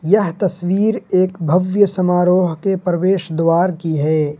यह तस्वीर एक भव्य समारोह के प्रवेश द्वार की है।